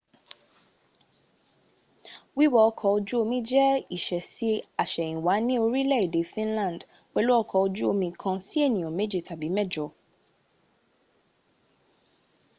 wíwọ ọkọ̀-ojú omi jẹ ìsẹẹsí àsèyìnwá ní orílè-èdè finland pèlú ọkọ̀-ojú omi kan si ènìyàn mẹjẹ tàbí mẹjọ